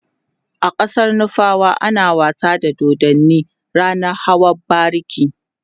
a ƙasar nufawa ana wasa da dodanni ranan hawan bariki